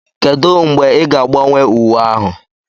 Kedu mgbe ị ga-agbanwe uwe ahụ?